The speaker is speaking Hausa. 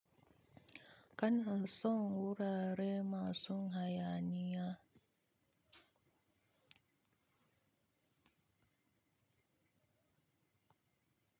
Ka n a son wurare masu hayaniya.